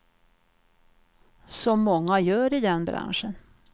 Som många gör i den branschen.